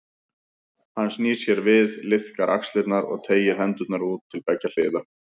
Hann snýr sér við, liðkar axlirnar og teygir hendurnar út til beggja hliða.